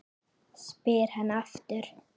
spyr hann aftur.